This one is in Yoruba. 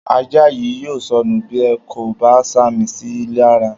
Ajá yìí yóò sọnù bí ẹ kò bá sàmì síi lara